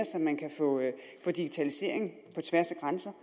så man kan få digitalisering på tværs af grænser